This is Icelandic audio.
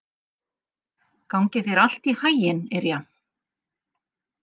Gangi þér allt í haginn, Irja.